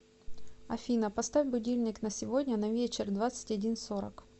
афина поставь будильник на сегодня на вечер двадцать один сорок